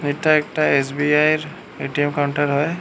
এটা একটা এস_বি_আই এর এ_টি_এম কাউন্টার হয়ে।